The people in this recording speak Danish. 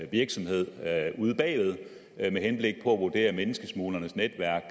virksomhed ude bagved med henblik på at vurdere menneskesmuglernes netværk